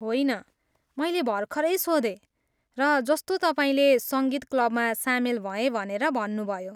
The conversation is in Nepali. होइन, मैले भर्खरै सोधेँ, र जस्तो तपाईँले सङ्गीत क्लबमा सामेल भएँ भनेर भन्नुभयो।